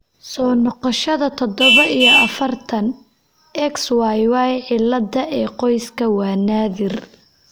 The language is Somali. Soo noqoshada todoba iyo afartan, XYY cilada ee qoyska waa naadir.